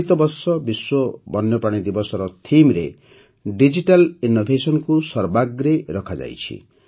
ଚଳିତ ବର୍ଷ ବିଶ୍ୱ ବନ୍ୟପ୍ରାଣୀ ଦିବସର Themeରେ ଡିଜିଟାଲ୍ ଇନ୍ନୋଭେସନକୁ ସର୍ବାଗ୍ରେ ରଖାଯାଇଛି